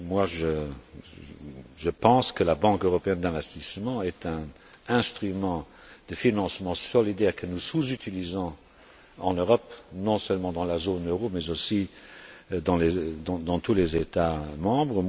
Moi, je pense que la Banque européenne d'investissement est un instrument de financement solidaire que nous sous utilisons en Europe, non seulement dans la zone euro, mais dans tous les États membres.